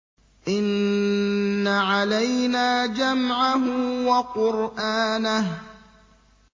إِنَّ عَلَيْنَا جَمْعَهُ وَقُرْآنَهُ